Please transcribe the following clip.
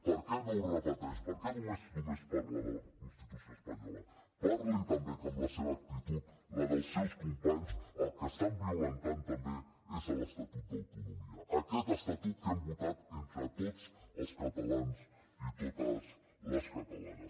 per què no ho repeteix per què només parla de la constitució espanyola parli també que amb la seva actitud amb la dels seus companys el que estan violentant també és l’estatut d’autonomia aquest estatut que hem votat entre tots els catalans i totes les catalanes